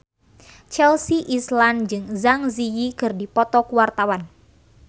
Chelsea Islan jeung Zang Zi Yi keur dipoto ku wartawan